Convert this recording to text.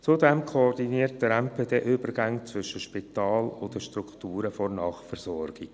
Zudem koordiniert der MPD die Übergänge zwischen Spital und den Strukturen der Nachversorgung.